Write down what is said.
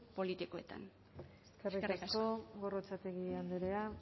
politikoetan eskerrik asko gorrotxategi andrea